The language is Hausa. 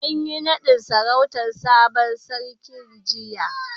An yi nadin sarautan sabon sarkin jiya.